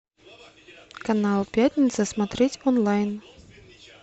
канал пятница смотреть онлайн